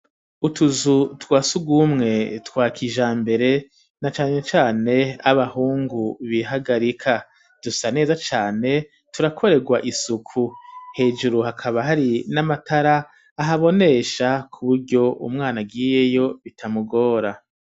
Utuzu twasugumwe twakijambere na cane cane abahungu bihagarika, dusa neza cane turakoregwa isuku, hejuru hakaba hari n'amatara ahabonesha kuburyo umwana agiyeyo bitamugora.